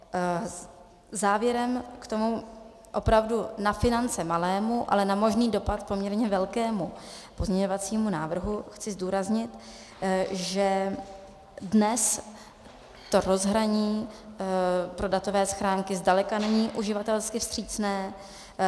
Závěrem k tomu opravdu na finance malému, ale na možný dopad poměrně velkému pozměňovacímu návrhu chci zdůraznit, že dnes to rozhraní pro datové schránky zdaleka není uživatelsky vstřícné.